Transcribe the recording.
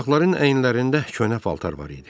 Uşaqların əyinlərində köhnə paltar var idi.